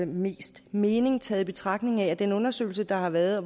mest mening tager i betragtning at i den undersøgelse der har været